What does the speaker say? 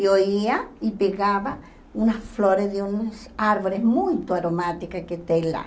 Eu ia e pegava umas flores de umas árvores muito aromáticas que tem lá.